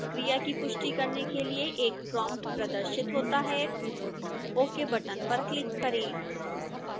क्रिया की पुष्टि करने के लिए एक prompt प्रदर्शित होता है ok बटन पर क्लिक करें